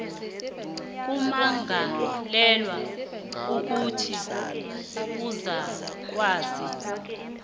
kummangalelwa kukuthi uzakwazi